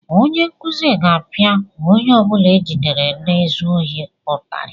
Onye nkuzi ga-apịa onye ọ bụla e jidere na-ezu ohi ụtarị.